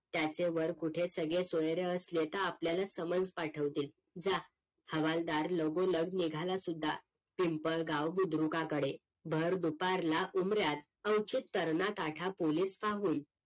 त्याचे वर कूठे सगेसोयरे असले तर आपल्याला समज पाठवतील जा हवलदार लगोलग निघाला सुद्धा पिंपळगाव बुद्रकाकडे भर दुपारला उन्दर्यात कर्णाकाठा पोलीस पाहून